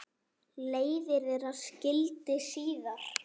Leiðir þeirra skildi síðar.